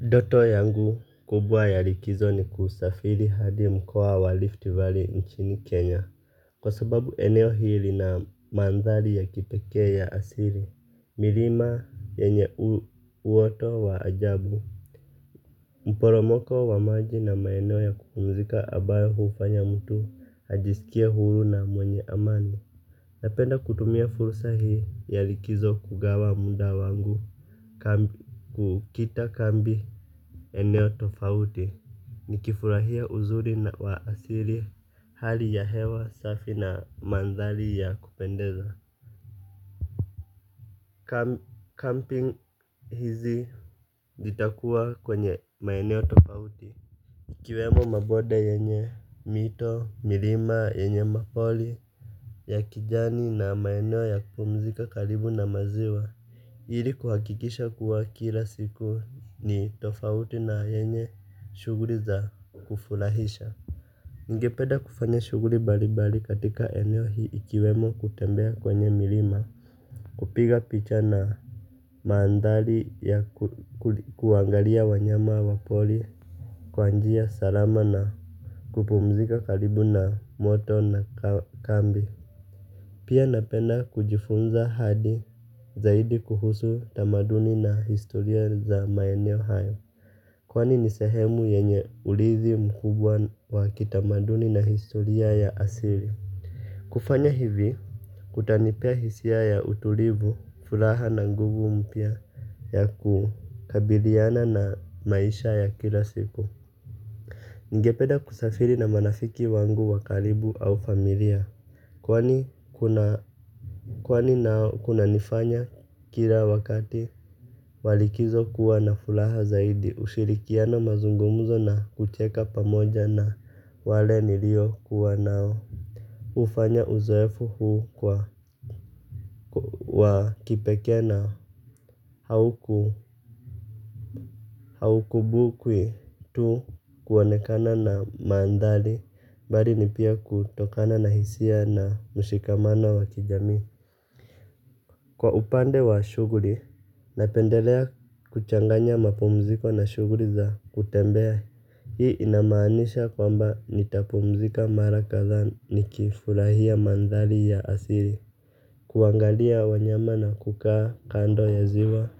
Ndoto yangu kubwa ya likizo ni kusafiri hadi mkoa wa Rift valley nchini Kenya. Kwa sababu eneo hili na manthari ya kipekee ya asili. Milima yenye uoto wa ajabu. Mporomoko wa maji na maeneo ya kupumzika ambayo hufanya mtu ajisikie huru na mwenye amani. Napenda kutumia fursa hii ya likizo kugawa muda wangu kukita kambi eneo tofauti. Nikifurahia uzuri wa asili hali ya hewa safi na mandhari ya kupendeza Camping hizi zitakuwa kwenye maeneo tofauti. Ikiwemo mabonde yenye mito, milima yenye mapori ya kijani na maeneo ya kupumzika karibu na maziwa, ili kuhakikisha kuwa kila siku ni tofauti na yenye shughuli za kufurahisha. Ningepeda kufanya shughuli mbali mbali katika eneo hii ikiwemo kutembea kwenye milima, kupiga picha na mandhari ya kuangalia wanyama wa pori kwa njia salama na kupumzika karibu na moto na kambi. Pia napenda kujifunza hadi zaidi kuhusu tamaduni na historia za maeneo hayo. Kwani nisehemu yenye urithi mkubwa wa kitamaduni na historia ya asili. Kufanya hivi kutanipea hisia ya utulivu furaha na nguvu mpya ya kukabiliana na maisha ya kila siku. Ningepeda kusafiri na marafiki wangu wa karibu au familia kwani nao kuna nifanya kilan wakati walikizo kuwa na furaha zaidi. Ushirikiano, mazungumuzo na kucheka pamoja na wale niliokuwa nao ufanya uzoefu huu kuwa wa kipekee na haukumbukwi tu kuonekana na mandhari bali ni pia kutokana na hisia na mshikamano wa kijamii. Kwa upande wa shughuli, napendelea kuchanganya mapumziko na shughuli za kutembea. Hii inamaanisha kwamba nitapumzika mara kadhaa nikifurahia mandhari ya asili. Kuangalia wanyama na kukaa kando ya ziwa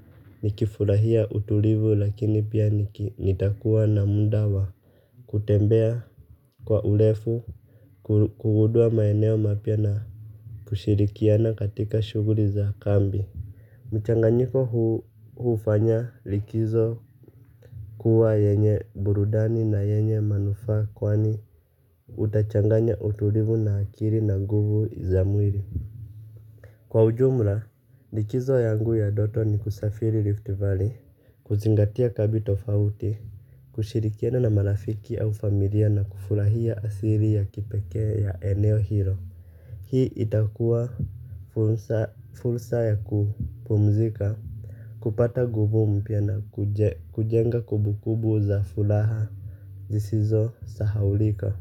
nikifurahia utulivu lakini pia nitakuwa na muda wa kutembea kwa urefu kugundua maeneo mapya na kushirikiana katika shuguli za kambi. Mchanganyiko huu hufanya likizo kuwa yenye burudani na yenye manufaa kwani utachanganya utulivu na akili na nguvu za mwili. Kwa ujumla, likizo yangu ya ndoto ni kusafiri Rift Valley, kuzingatia kambi tofauti, kushirikiana na marafiki au familia na kufurahia asili ya kipekee ya eneo hilo. Hii itakua fursa ya kupumzika, kupata nguvu mpya na kujenga kumbu kumbu za furaha zisizosahaulika.